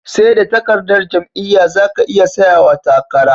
Seda takardar jam'iya zaka iya tsayawa takara